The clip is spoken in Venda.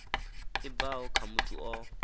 i bvaho kha muthu o